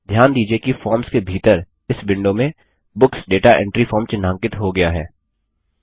ध्यान दीजिये कि फॉर्म्स के भीतर इस विंडो में बुक्स दाता एंट्री फॉर्म चिह्नांकित हो गया है